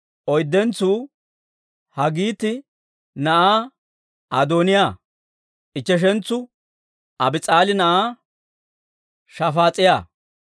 Oyddentsuu Haggiiti na'aa Adooniyaa; ichcheshentsu Abiis'aali na'aa Shafaas'iyaa.